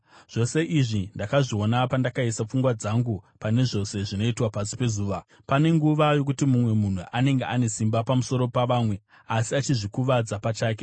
Zvose izvi ndakazviona, pandakaisa pfungwa dzangu pane zvose zvinoitwa pasi pezuva. Pane nguva yokuti mumwe munhu anenge ane simba pamusoro pavamwe, asi achizvikuvadza pachake.